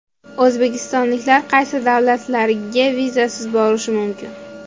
O‘zbekistonliklar qaysi davlatlarga vizasiz borishi mumkin?.